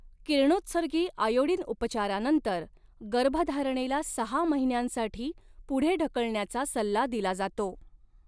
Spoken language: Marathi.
किरणोत्सर्गी आयोडीन उपचारानंतर गर्भधारणेला सहा महिन्यांसाठी पुढे ढकलण्याचा सल्ला दिला जातो.